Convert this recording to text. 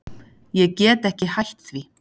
Ég get ekki hætt því.